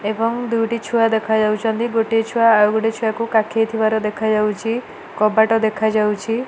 ଏବଂ ଦୁଇଟି ଛୁଆ ଦେଖା ଯାଉଛନ୍ତି। ଗୋଟିଏ ଛୁଆ ଆଉ ଗୋଟେ ଛୁଆକୁ କାଖେଇ ଥିବାର ଦେଖା ଯାଉଚି। କବାଟ ଦେଖା ଯାଉଛି।